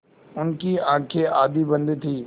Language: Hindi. उनकी आँखें आधी बंद थीं